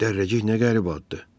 Dərrəcik nə qəribə addır.